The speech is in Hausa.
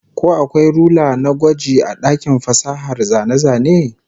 Ko akwai rula na gwaji a dakin fasahar zane-zane?